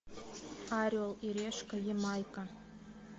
орел и решка ямайка